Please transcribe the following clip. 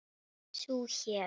Sú hét